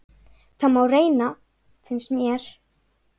Það má reyna, finnst mér.